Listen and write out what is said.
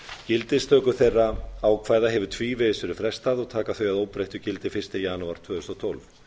gildistöku þeirra ákvæða hefur tvívegis verið frestað og taka þau að óbreyttu gildi fyrsta janúar tvö þúsund og tólf